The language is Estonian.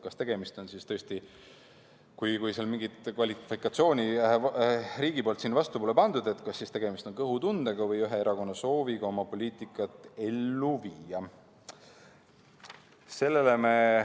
Kas tegemist on siis tõesti, kui mingit klassifikatsiooni siin riigil pole, kõhutundega või ühe erakonna sooviga oma poliitikat ellu viia?